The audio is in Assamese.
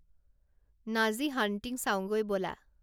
নাজী হাণ্টিং চাওঁগৈ ব'লা